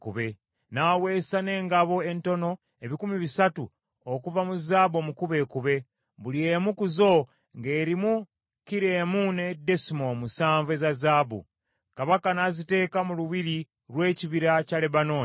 N’aweesa n’engabo entono ebikumi bisatu okuva mu zaabu omukubeekube, buli emu ku zo ng’erimu kilo emu ne desimoolo musanvu eza zaabu. Kabaka n’aziteeka mu lubiri lw’Ekibira kya Lebanooni.